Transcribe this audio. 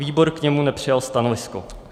Výbor k němu nepřijal stanovisko.